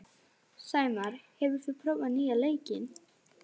Sæmar, hefur þú prófað nýja leikinn?